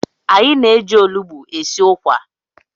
Anyị na-eji olụgbụ esi ukwa.